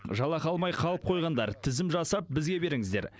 жалақы алмай қалып қойғандар тізім жасап бізге беріңіздер